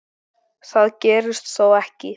Það gerðist þó ekki.